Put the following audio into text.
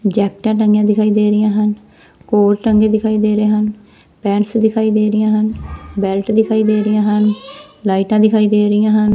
ਜੈਕਟਆਂ ਟੰਗੀਆਂ ਦਿਖਾਈ ਦੇ ਰਹੀਆਂ ਹਨ ਕੋਟ ਟੰਗੇ ਦਿਖਾਈ ਦੇ ਰਹੇ ਹਨ ਪੈਂਡਸ ਦਿਖਾਈ ਦੇ ਰਹੀਆਂ ਹਨ ਬੈਲਟ ਦਿਖਾਈ ਦੇ ਰਹੀਆਂ ਹਨ ਲਾਈਟਾਂ ਦਿਖਾਈ ਦੇ ਰਹੀਆਂ ਹਨ।